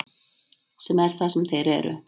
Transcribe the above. Sem er það sem þeir eru.